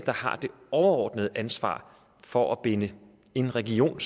overordnede ansvar for at binde en region